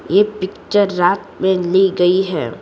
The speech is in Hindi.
यह पिक्चर रात में ली गई है।